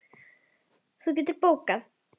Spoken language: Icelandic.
Það geturðu bókað.